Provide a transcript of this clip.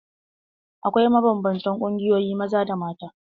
Akwai mabanbantan ƙungiyoyin maza da mata.